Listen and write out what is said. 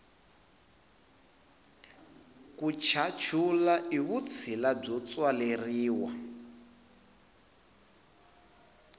ku chachula i vutshila byo tswaleriwa